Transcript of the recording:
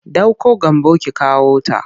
Ɗauko Gambo ki kawota!